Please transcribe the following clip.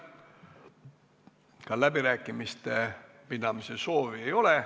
Ka läbirääkimiste pidamise soovi ei ole.